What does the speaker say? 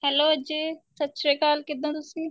hello Ajay ਸਤਿ ਸ਼੍ਰੀ ਅਕਾਲ ਕਿੱਦਾਂ ਤੁਸੀਂ